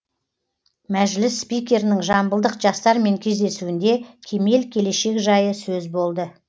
мәжіліс спикерінің жамбылдық жастармен кездесуінде кемел келешек жайы сөз болды